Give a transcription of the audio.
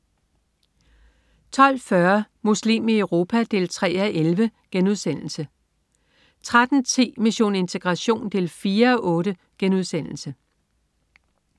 12.40 Muslim i Europa 3:11* 13.10 Mission integration 4:8*